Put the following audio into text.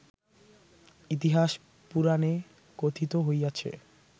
ইতিহাস পুরাণে কথিত হইয়াছে